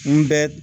N bɛ